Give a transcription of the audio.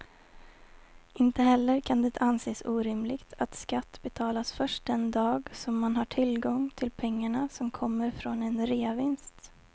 Inte heller kan det anses orimligt att skatt betalas först den dag som man har tillgång till pengarna som kommer från en reavinst.